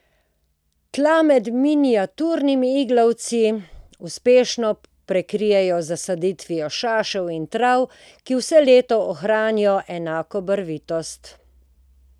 Tla med miniaturnimi iglavci uspešno prekrijemo z zasaditvijo šašev in trav, ki vse leto ohranijo enako barvitost.